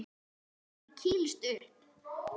Maður kýlist upp.